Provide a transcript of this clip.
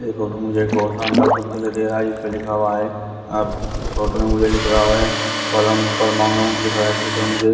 मुझे एक बहुत दे रहा है इस पे लिखा हुआ है अ फोटो में मुझे लिख रहा है परम परमाणु लिख रहा है फोटो में मुझे--